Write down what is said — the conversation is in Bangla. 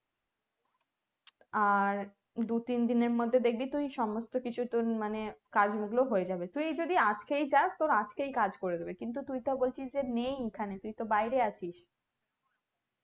আর দুতিন দিনের মধ্যে দেখবি তুই সমস্ত কিছু তুই মানে কাজ গুলো হয়ে যাবে মানে যদি আজকে যাস আজকেই কাজ করে দিবে কিন্তু তুই তো বলছিস যে নেই এখানে তুই তো বাইরে আছিস